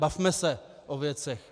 Bavme se o věcech.